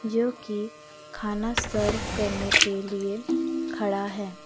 जो की खाना सर्व करने के लिए खड़ा है।